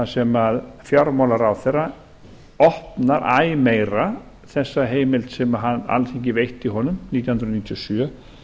sem fjármálaráðherra opnar æ meira þessa heimild sem alþingi veitti honum nítján hundruð níutíu og sjö